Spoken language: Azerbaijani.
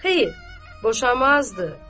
Xeyr, boşamazdı.